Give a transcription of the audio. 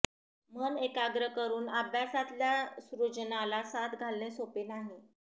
मन एकाग्र करून अभ्यासातल्या सृजनाला साद घालणे सोपे नाही